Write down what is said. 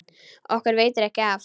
Okkur veitir ekki af.